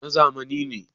na zamani ne